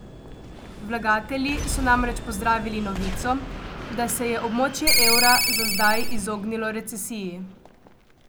Vlagatelji so namreč pozdravili novico, da se je območje evra za zdaj izognilo recesiji.